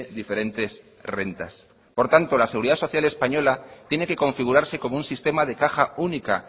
diferentes rentas por lo tanto la seguridad social española tiene que configurarse como un sistema de caja única